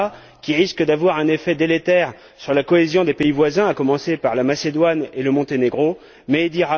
Rama, qui risque d'avoir un effet délétère sur la cohésion des pays voisins, à commencer par la Macédoine et le Monténégro, mais M.